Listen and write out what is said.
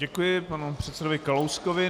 Děkuji panu předsedovi Kalouskovi.